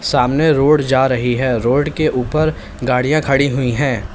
सामने रोड जा रही है रोड के ऊपर गाड़ियां खड़ी हुई हैं।